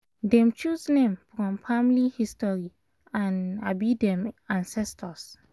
dem choose name from family history and um dem ancestors